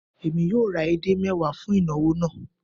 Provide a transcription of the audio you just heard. Èmi yóò ra edé mẹ́wàá fún ìnawọ̀ náà